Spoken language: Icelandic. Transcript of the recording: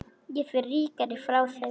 Ég fer ríkari frá þeim.